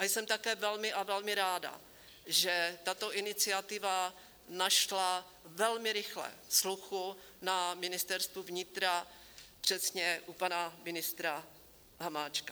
A jsem také velmi a velmi ráda, že tato iniciativa našla velmi rychle sluchu na Ministerstvu vnitra, přesně u pana ministra Hamáčka.